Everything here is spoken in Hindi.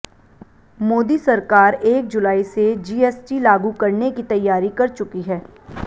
मोदी सरकार एक जुलाई से जीएसटी लागू करने की तैयारी कर चुकी है